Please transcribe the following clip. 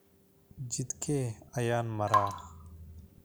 Jidkee ayaan maraa?